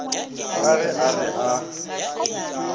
ka ge a re a